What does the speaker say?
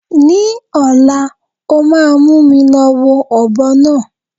Ni ọ̀la, ó máa mú mi lọ wo ọ̀bọ náà.